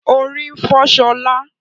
Orí ń fọ́ ṣọlá